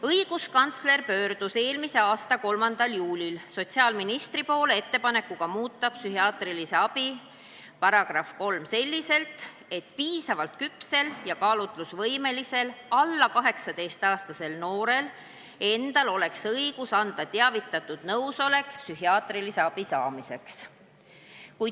Õiguskantsler pöördus eelmise aasta 3. juulil sotsiaalministri poole ettepanekuga muuta psühhiaatrilise abi seaduse § 3 selliselt, et piisavalt küpsel ja kaalutlusvõimelisel alla 18-aastasel noorel endal oleks õigus anda teavitatud nõusolek psühhiaatrilise abi saamiseks.